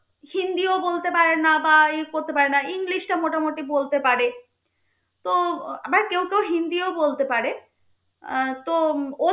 হিন্দিও বলতে পারে না বা ই করতে পারে না ইংলিশটা মোটামুটি বলতে পারে. তো আবার কেউ কেউ হিন্দিও বলতে পারে আহ তো উম